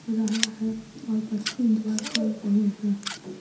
रहा है और बस एंजॉय कर रहे हैं --